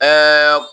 Bɛɛ